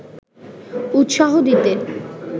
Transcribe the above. উৎসাহ দিতে